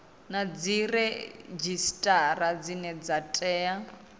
na dziredzhisitara dzine dza tea